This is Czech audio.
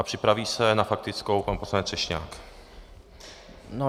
A připraví se na faktickou pan poslanec Třešňák.